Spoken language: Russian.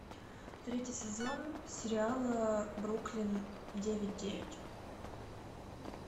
третий сезон сериала бруклин девять девять